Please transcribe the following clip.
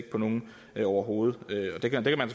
på nogen overhovedet det kan man